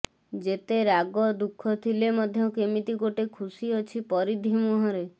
ଯେତେ ରାଗ ଦୁଃଖ ଥିଲେ ମଧ୍ୟ କେମିତି ଗୋଟେ ଖୁସି ଅଛି ପରିଧି ମୁହଁରେ